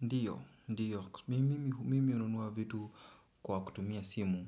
Ndiyo, ndiyo. Mi mimi hununua vitu kwa kutumia simu.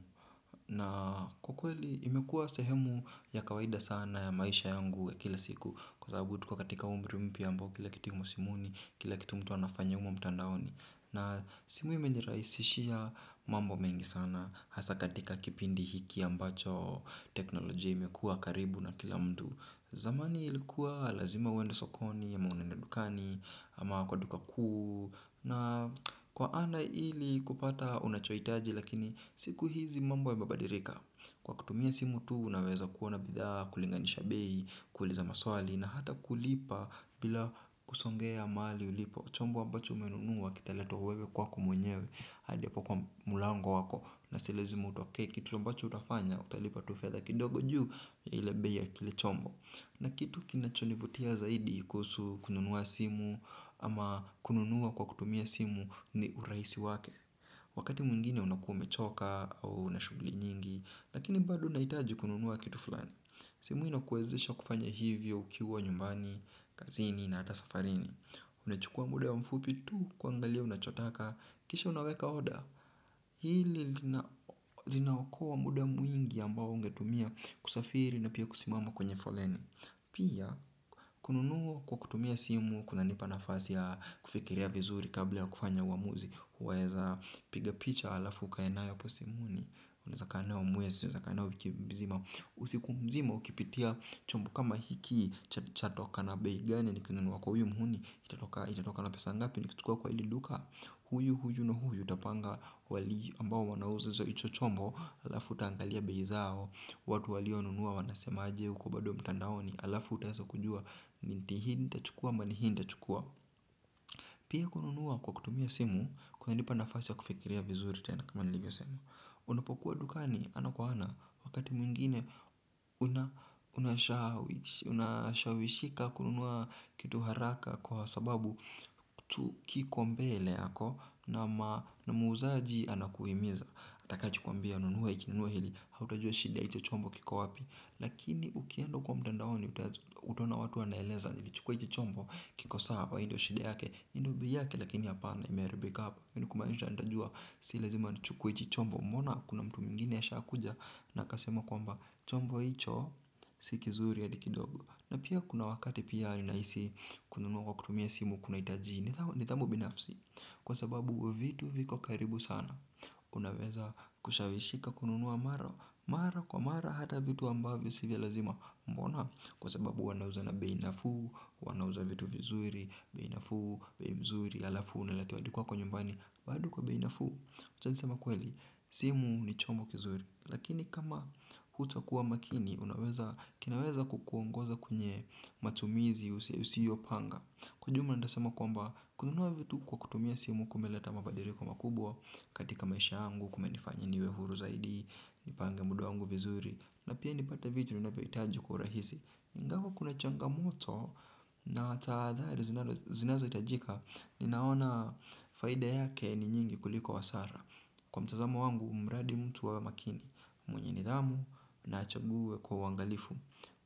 Na kwa kweli imekuwa sehemu ya kawaida sana ya maisha yangu ya kila siku. Kwa sababu tuko katika umri ambao kila kitu imo simuni, kila kitu mtu anafanya humo mtandaoni. Na simu imenirahisishia mambo mengi sana. Hasa katika kipindi hiki ambacho teknolojia imekuwa karibu na kila mtu. Zamani ilikuwa lazima uende sokoni ama unaenda dukani ama kwa duka kuu na kwa ana ili kupata unachohitaji lakini siku hizi mambo yamebabadirika. Kwa kutumia simu tu unaweza kuona bidhaa kulinganisha bei, kuuliza maswali na hata kulipa bila kusongea mahali ulipo. Chombo ambacho umenunua kitaletwa wewe kwako mwenyewe hadi hapo kwa mlango wako na si lazima utokee kitu ambacho utafanya utalipa tu fedha kidogo juu ya ile bei ya kile chombo na kitu kinachonivutia zaidi kuhusu kununua simu ama kununua kwa kutumia simu ni urahisi wake. Wakati mwingine unakuwa umechoka au una shughuli nyingi lakini bado unahitaji kununua kitu fulani. Simu inakuwezesha kufanya hivyo ukiwa nyumbani, kazini na hata safarini. Unachukua muda mfupi tu kuangalia unachotaka, kisha unaweka order. Hili linaokoa muda mwingi ambao ungetumia kusafiri na pia kusimama kwenye foleni. Pia kununua kwa kutumia simu kunanipa nafasi ya kufikiria vizuri kabla ya kufanya uamuzi. Waeza piga picha halafu ukae nayo hapo simuni. Unaweza kaa nayo mwezi, unaweza kaa nayo wiki mzima. Usiku mzima ukipitia chumbo kama hiki chatoka na bei gani nikinunua kwa huyu mhuni. Itatoka na pesa ngapi nikuchukua kwa hili duka. Huyu huyu na huyu utapanga wali ambao wanauza za hicho chombo, halafu utaangalia bei zao, watu walio nunua wanasema aje huko bado mtandaoni halafu utaweza kujua ni mti hii nitachukua ama ni hii nitachukua. Pia kununua kwa kutumia simu kunanipa nafasi ya kufikiria vizuri tena kama nilivyosema. Unapokuwa dukani ana kwa ana wakati mwingine nashawishika kununua kitu haraka kwa sababu kitu kiko mbele yako na muuzaji anakuhimiza. Atakacho kuambia nunua hiki nunua hili hautajua shida ya hicho chombo kiko wapi lakini ukienda huko mtandaoni utaona watu wanaeleza nikichukua hicho chombo kiko sawa? Hii ndo shida yake, hii ndo bei yake? Lakini hapana imeharibika hapa. Hii ni kumaanisha nitajua si lazima nichukue hichi chombo, mbona kuna mtu mwingine ashakuja na akasema kwamba chombo hicho siki kizuri hadi kidogo. Na pia kuna wakati pia ninahisi kununua kwa kutumia simu kunahitaji nidhamu binafsi, kwa sababu vitu viko karibu sana. Unaweza kushawishika kununuwa mara kwa mara hata vitu ambavyo si vya lazima, mbona? Kwa sababu wanauza na bei nafuu. Wanauza vitu vizuri, bei nafuu, bei mzuri, halafu unaletewa hadi kwako nyumbani bado kwa bei nafuu. Wacha niseme kweli, simu ni chombo kizuri lakini kama hutakuwa makini unaweza, kinaweza kukuongoza kwenye matumizi usiyopanga. Kwa ujumla nitasema kwamba kununua vitu kwa kutumia simu kumeleta mabadiriko makubwa katika maisha yangu kumenifanya niwe huru zaidi, nipange muda wangu vizuri, na pia nipate vitu ninavyohitaji kwa urahisi. Ingawa kuna changamoto na tahadhari zinazohitajika ninaona faida yake ni nyingi kuliko hasara. Kwa mtazamo wangu, mradi mtu awe makini, mwenye nidhamu na achague kwa uangalifu.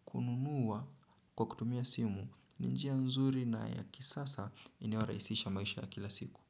Kununua kwa kutumia simu ni njia nzuri na ya kisasa inayorahisisha maisha ya kila siku.